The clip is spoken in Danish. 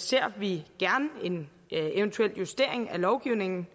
ser vi gerne en eventuel justering af lovgivningen